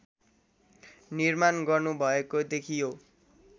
निर्माण गर्नुभएको देखियो